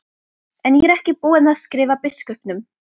En ég er ekki búinn að skrifa biskupnum.